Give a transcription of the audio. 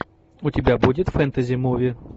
у тебя будет фэнтези муви